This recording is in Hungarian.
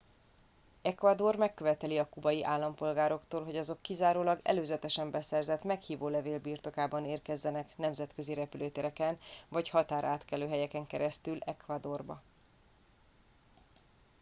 ecuador megköveteli a kubai állampolgároktól hogy azok kizárólag előzetesen beszerzett meghívólevél birtokában érkezzenek nemzetközi repülőtereken vagy határátkelőhelyeken keresztül ecuadorba